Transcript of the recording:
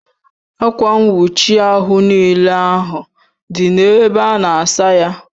Akwa nwuchi ahu n'ile ahu di n'ebe ana asaya